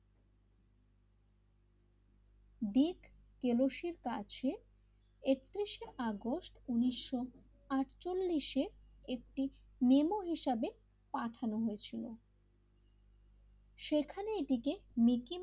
দিত ক্যালস এর কাছে একত্রিশে আগস্ট উনিশ আটছলিস এ একটি নেমো হিসাবে পাঠানো হয়েছিল সেখানে এটিকে মিকি,